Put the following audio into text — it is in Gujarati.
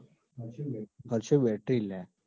હર્ષયો બેટરી લ્યા.